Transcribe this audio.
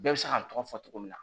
Bɛɛ bɛ se k'a tɔgɔ fɔ cogo min na